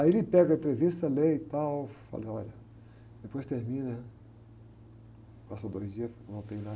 Aí ele pega a entrevista, lê e tal, fala, olha, depois termina, passa dois dias, não tem nada.